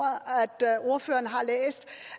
at ordføreren har læst